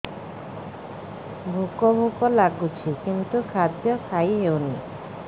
ଭୋକ ଭୋକ ଲାଗୁଛି କିନ୍ତୁ ଖାଦ୍ୟ ଖାଇ ହେଉନି